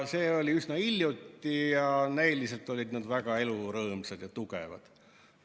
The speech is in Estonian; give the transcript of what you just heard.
See oli üsna hiljuti ja näiliselt olid nad väga elurõõmsad ja tugevad.